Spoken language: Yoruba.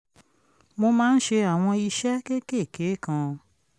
mo máa ń ṣe àwọn iṣẹ́ kéékèèké kan